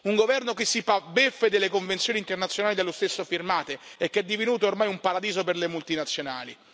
Un governo che si fa beffe delle convenzioni internazionali dallo stesso firmate e che è divenuto ormai un paradiso per le multinazionali.